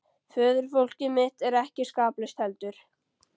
Föðurfólkið mitt er ekki skaplaust heldur.